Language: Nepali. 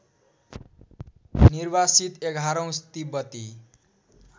निर्वासित एघारौँ तिब्बती